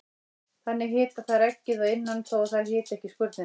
Þannig hita þær eggið að innan þó að þær hiti ekki skurnina.